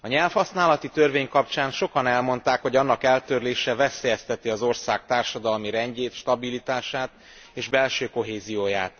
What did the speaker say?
A nyelvhasználati törvény kapcsán sokan elmondták, hogy annak eltörlése veszélyezteti az ország társadalmi rendjét, stabilitását és belső kohézióját.